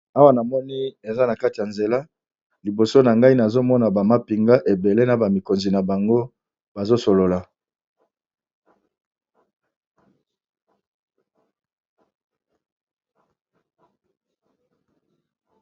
Awa na moni eza na kati ya nzela liboso na ngai nazomona bamapinga ebele na bamikonzi na bango bazosolola.